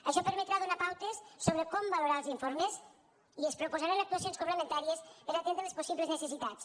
això permetrà donar pautes sobre com valorar els informes i es proposaran actuacions complementàries per a atendre les possibles necessitats